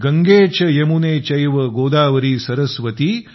गंगे च यमुने चैव गोदावरी सरस्वति